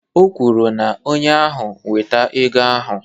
O kwuru na onye ahụ weta ego ahụ